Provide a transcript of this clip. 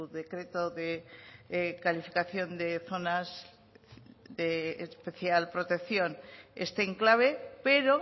decreto de calificación de zonas de especial protección este enclave pero